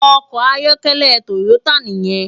Òkò àyòkèlè Toyota niyèn